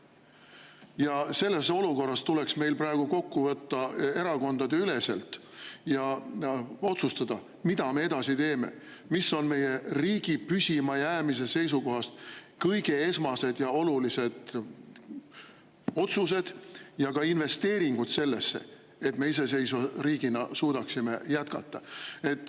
Ja selles olukorras tuleks meil praegu tulla erakondadeüleselt kokku ja otsustada, mida me edasi teeme, mis on meie riigi püsimajäämise seisukohast esmased ja kõige olulisemad otsused ning ka investeeringud sellesse, et me iseseisva riigina suudaksime jätkata.